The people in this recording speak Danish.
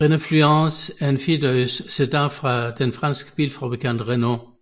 Renault Fluence er en firedørs sedan fra den franske bilfabrikant Renault